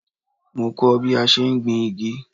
Mo kọ́ ọ́ bí a ṣe ń gbin igi